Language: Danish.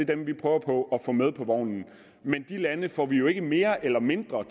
dem vi prøver på at få med på vognen men de lande får vi jo ikke mere eller mindre